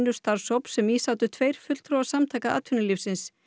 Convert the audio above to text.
starfshóps sem í sátu tveir fulltrúar Samtaka atvinnulífsins